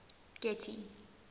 getty